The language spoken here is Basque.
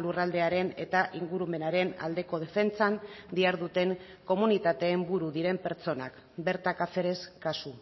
lurraldearen eta ingurumenaren aldeko defentsan diharduten komunitateen buru diren pertsonak berta cáceres kasu